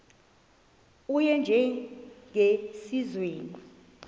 u y njengesiwezi